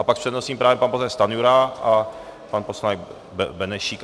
A pak s přednostním právem pan poslanec Stanjura a pan poslanec Benešík.